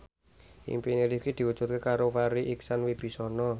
impine Rifqi diwujudke karo Farri Icksan Wibisana